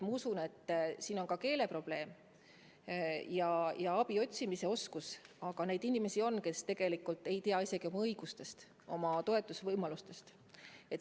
Ma usun, et mängus oli ka keeleprobleem ja vähene abi otsimise oskus, aga neid inimesi on, kes tegelikult ei tea oma õigusi, toetuse saamise võimalusi.